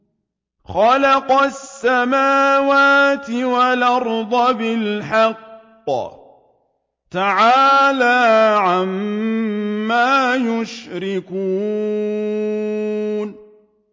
خَلَقَ السَّمَاوَاتِ وَالْأَرْضَ بِالْحَقِّ ۚ تَعَالَىٰ عَمَّا يُشْرِكُونَ